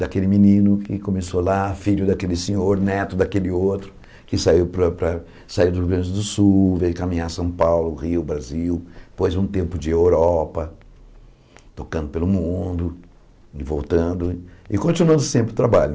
daquele menino que começou lá, filho daquele senhor, neto daquele outro, que saiu para para saiu do Rio Grande do Sul, veio caminhar São Paulo, Rio, Brasil, depois um tempo de Europa, tocando pelo mundo, e voltando e continuando sempre o trabalho.